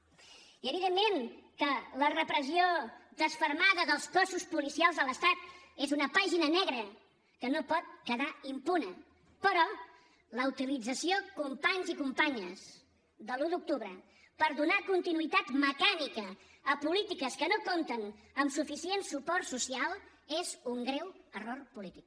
i evidentment que la repressió desfermada dels cossos policials de l’estat és una pàgina negra que no pot quedar impune però la utilització companys i companyes de l’un d’octubre per donar continuïtat mecànica a polítiques que no compten amb suficient suport social és un greu error polític